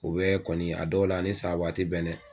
U bɛ kɔni a dɔw la a ni sababa te bɛn dɛ